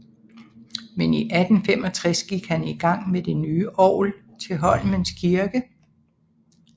Men i 1865 gik han i gang med det nye orgel til Holmens Kirke